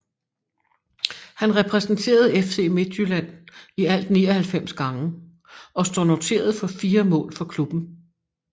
Han repræsenterede FC Midtjylland i alt 99 gange og står noteret for 4 mål for klubben